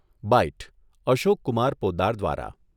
byte, Ashok Kumar Poddar દ્વારા